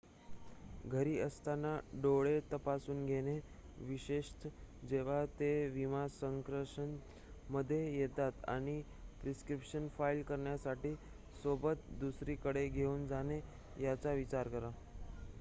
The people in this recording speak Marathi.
घरी असताना डोळे तपासून घेणे विशेषत जेव्हा ते विमा संरक्षणामध्ये येते आणि प्रिस्क्रिप्शन फाइल करण्यासाठी सोबत दुसरीकडे घेऊन जाणे याचा विचार करा